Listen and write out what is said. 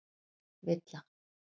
Villa